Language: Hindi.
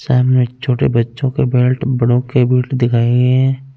साइड में छोटे बच्चो के बेल्ट बड़ो के बेल्ट दिखाई गयी है।